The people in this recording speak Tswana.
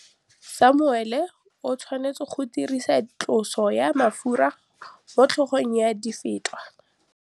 Samuele o tshwanetse go dirisa tlotsô ya mafura motlhôgong ya Dafita.